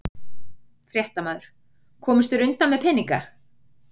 Fréttamaður: Komust þeir undan með peninga?